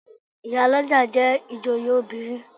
Ìyálọ́jà jẹ́ ìjòyè obìnrin.